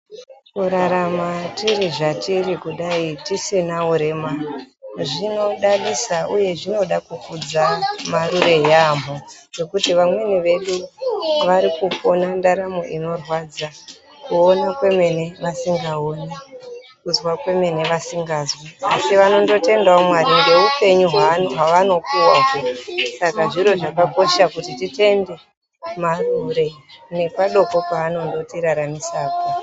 Kurarama tiri zvatiri kudai tisina urema zvinodadisa uye zvinoda kukudza Marure yaamho. Ngekuti vamweni vedu vari kupona ndaramo inorwadza yaamho. Kuona kwemene asingakoni, kuzwa kwemene vasingazwi. Vanondotendawo Mwari ngeupenyu hwavanondopuwa hwo. Zviro zvakakosha kuti titende Marure ngepadoko paanondotiraramisa po